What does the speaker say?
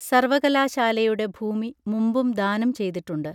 സർവകലാശാലയുടെ ഭൂമി മുമ്പും ദാനം ചെയ്തിട്ടുണ്ട്